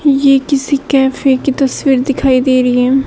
यह किसी कैफे की तस्वीर दिखाई दे रही है।